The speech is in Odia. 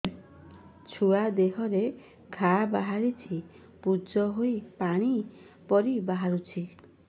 ଛୁଆ ଦେହରେ ଘା ବାହାରିଛି ପୁଜ ହେଇ ପାଣି ପରି ବାହାରୁଚି